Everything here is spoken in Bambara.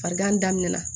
Farigan daminɛna